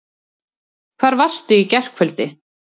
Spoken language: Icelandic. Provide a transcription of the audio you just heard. Hvar varstu í gærkvöldi?